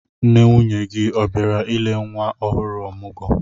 Nne nwunye gị ọ bịara ile nwa ohụrụ ọmụgwọ?